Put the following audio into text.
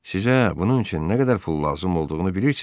Sizə bunun üçün nə qədər pul lazım olduğunu bilirsizmi?